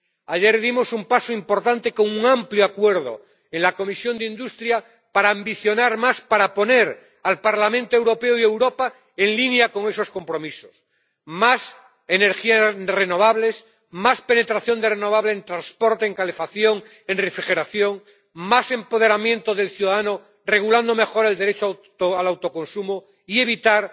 Ayer dimos un paso importante con un amplio acuerdo en la Comisión de Industria para ambicionar más, para poner al Parlamento Europeo y a Europa en línea con esos compromisos más energías renovables, más penetración de renovables en transporte, en calefacción, en refrigeración, más empoderamiento del ciudadano, regulando mejor el derecho al autoconsumo, y evitar